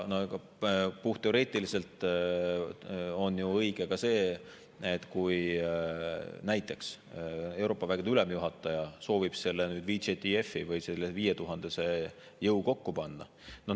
Puhtteoreetiliselt on õige ka see, kui näiteks Euroopa vägede ülemjuhataja soovib VJTF-i või selle 5000-se jõu kokku panna.